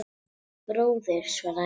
Bróðir, svaraði Eiki.